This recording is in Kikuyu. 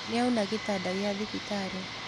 Nĩauna gĩtanda gĩa thibitarĩ.